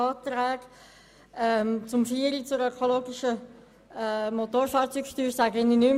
Zur Planungserklärung 4 betreffend die ökologische Motorfahrzeugsteuer sage ich nichts mehr.